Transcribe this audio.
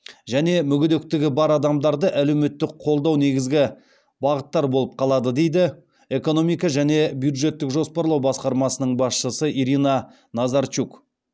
және мүгедектігі бар адамдарды әлеуметтік қолдау негізгі бағыттар болып қалады дейді экономика және бюджеттік жоспарлау басқармасының басшысы ирина назарчук